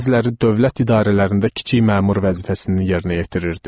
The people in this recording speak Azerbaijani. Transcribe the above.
Bəziləri dövlət idarələrində kiçik məmur vəzifəsini yerinə yetirirdi.